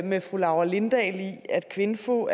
med fru laura lindahl i at kvinfo